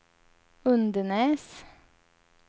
Undenäs